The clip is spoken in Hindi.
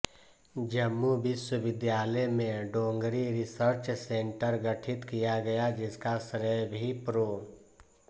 जम्मू विश्वविद्यालय में डोगरी रिसर्च सेंटर गठित किया गया जिसका श्रेय भी प्रो